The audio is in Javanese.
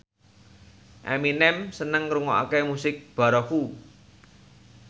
Eminem seneng ngrungokne musik baroque